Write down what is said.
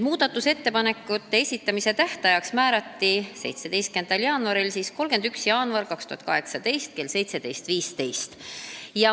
Muudatusettepanekute esitamise tähtajaks määrati 31. jaanuar 2018 kell 17.15.